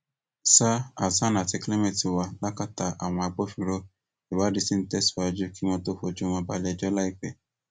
sa hasan àti clement ti wà lákàtà àwọn agbófinró ìwádìí ṣì ń tẹsíwájú kí wọn tóó fojú wọn balẹẹjọ láìpẹ